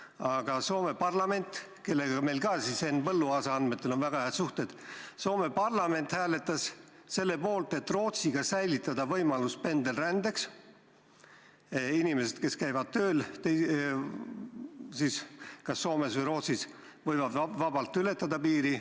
Aga Soome parlament, kellega meil ka Henn Põlluaasa andmetel on väga head suhted, hääletas selle poolt, et Rootsiga säilitada võimalus pendelrändeks: inimesed, kes käivad tööl kas Soomes või Rootsis, võivad vabalt ületada piiri.